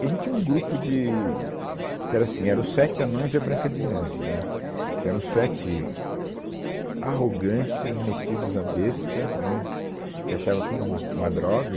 E a gente tinha um grupo de que era assim, eram os Sete Anões e a Branca de Neve, né, que eram os sete arrogantes, metidos à besta, né, que achavam tudo uma uma droga.